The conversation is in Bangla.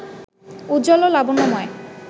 উজ্জ্বল ও লাবণ্যময়